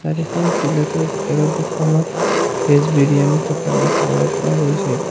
এখন পেলেটৰ ভিতৰত দুখানত ভেজ বিৰিয়ানী থকা দেখিবলৈ পোৱা গৈছে।